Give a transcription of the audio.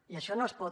i això no es pot